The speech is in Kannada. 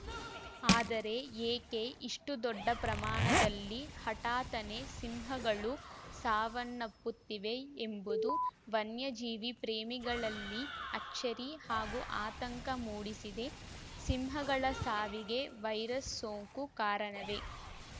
ಆದರೆ ಏಕೆ ಇಷ್ಟುದೊಡ್ಡ ಪ್ರಮಾಣದಲ್ಲಿ ಹಠಾತ್ತನೇ ಸಿಂಹಗಳು ಸಾವನ್ನಪ್ಪುತ್ತಿವೆ ಎಂಬುದು ವನ್ಯಜೀವಿ ಪ್ರೇಮಿಗಳಲ್ಲಿ ಅಚ್ಚರಿ ಹಾಗೂ ಆತಂಕ ಮೂಡಿಸಿದೆ ಸಿಂಹಗಳ ಸಾವಿಗೆ ವೈರಸ್‌ ಸೋಂಕು ಕಾರಣವೇ